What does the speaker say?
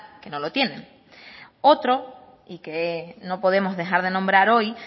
que no lo tienen otro y que no podemos dejar de nombrar hoy